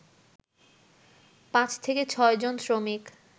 ৫/৬ জন শ্রমিক